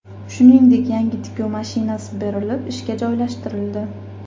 Shuningdek, yangi tikuv mashinasi berilib, ishga joylashtirildi.